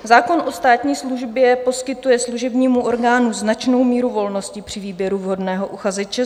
Zákon o státní službě poskytuje služebnímu orgánu značnou míru volnosti při výběru vhodného uchazeče.